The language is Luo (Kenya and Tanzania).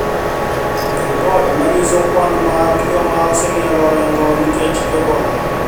Ripot ma nyiso kwan mag joma oseng`ielo orengo nikech Ebola